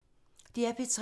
DR P3